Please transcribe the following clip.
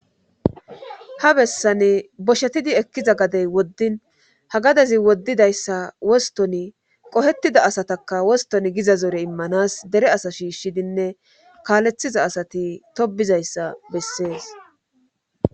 ha bessane boshetidi ekkiza gadey woddin ha gadezi woddidayssa wostoni qohettida asataka woston giza zore immanas dere asa shiishshidinne kaaleththiza asati tobizayssa bessees